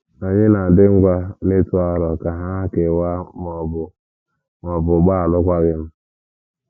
Ànyị na - adị ngwa n’ịtụ aro ka ha kewaa ma ọ bụ ma ọ bụ gbaa alụkwaghịm?